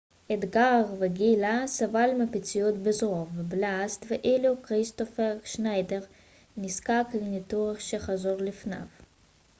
אדגר וגיילה סבל מפציעות בזרוע ובלסת ואילו כריסטופר שניידר נזקק לניתוח שחזור לפניו